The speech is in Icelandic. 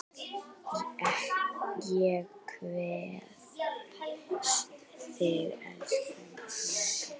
Ég kveð þig, elsku mamma.